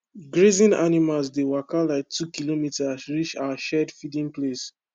grazing animals dey waka like two kilometres reach our shared feeding place